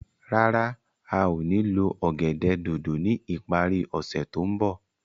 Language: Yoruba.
Rárá a o ní lo ọ̀gẹ̀dẹ̀ dòdò ni ipari ose to nbọ